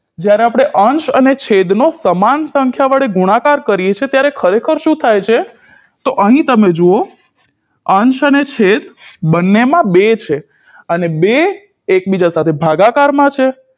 જ્યારે આપણે અંશ અને છેડનો સમાન સંખ્યા વડે ગુણાકાર કરીએ છીએ ત્યારે ખરેખર શું થાય છે તો અહી તમે જુઓ અંશ અને છેદ બને માં બે છે અને બે એકબીજા સાથે ભાગાકારમાં છે